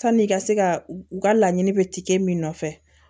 Sanni i ka se ka u ka laɲini bɛ tikɛ min nɔfɛ